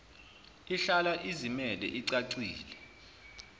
ihlala izimele icacile